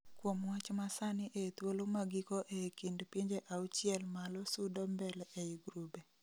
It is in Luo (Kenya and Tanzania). Kuom wach masani ee thuolo magiko ee kind pinje auchiel malo sudo mbele ei grube